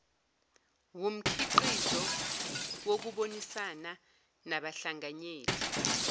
wumkhiqizo wokubonisana nabahlanganyeli